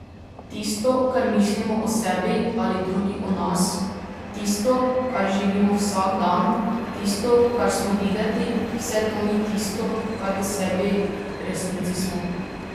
Tisto, kar mislimo o sebi ali drugi o nas, tisto, kar živimo vsak dan, tisto, kar smo videti, vse to ni tisto, kar v sebi v resnici smo.